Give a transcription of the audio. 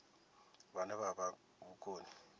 vhane vha vha na vhukoni